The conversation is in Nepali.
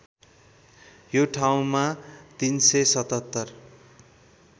यो ठाउँमा ३७७